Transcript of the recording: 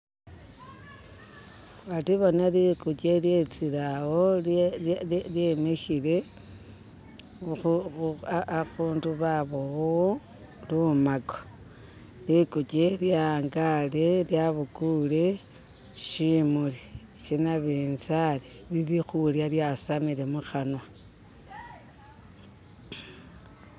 Ati bona likuche lyetsile awo lye lye lye lyemishile ahu ah ahundu babobawo lumako likuche lyangale lyabukule shimuli shanabinzali lili khulya lyasamile muhanwa